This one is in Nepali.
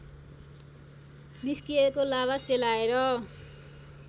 निस्किएको लाभा सेलाएर